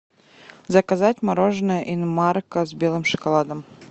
заказать мороженое инмарко с белым шоколадом